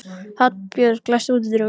Hallbjörg, læstu útidyrunum.